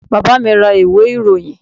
Bàbá mi ra ìwé ìròyìn.